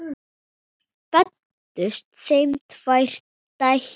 Þar fæddust þeim tvær dætur.